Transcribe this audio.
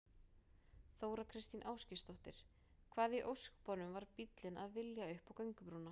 Þóra Kristín Ásgeirsdóttir: Hvað í ósköpunum var bíllinn að vilja upp á göngubrúnna?